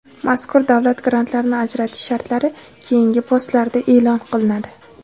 Mazkur davlat grantlarini ajratish shartlari keyingi postlarda e’lon qilinadi.